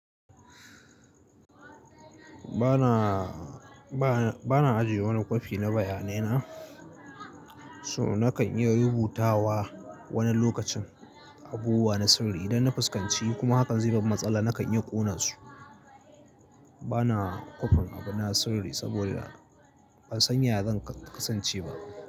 Ba na, ba na, ba na ajiye wani kwafi na bayanai na, so na kan iya rubutawa wani lokacin abubuwa na sirri. Idan na fuskanci kuma hakan zai ban matsala, na kan iya ƙona su. Ba na kwafin abuna sirri saboda ban san ya zan kasance ba.